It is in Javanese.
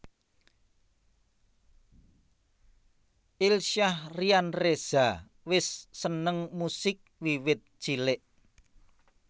Ilsyah Ryan Reza wis seneng musik wiwit cilik